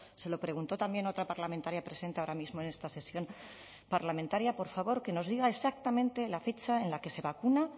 se lo preguntó también otra parlamentaria presente ahora mismo en esta sesión parlamentaria por favor que nos diga exactamente la fecha en la que se vacuna